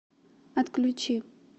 отключи